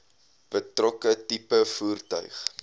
betrokke tipe voertuig